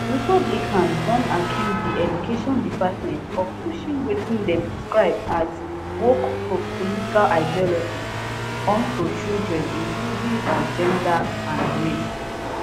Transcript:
republicans don accuse di education department of pushing wetin dem describe as woke political ideology on to children including on gender and race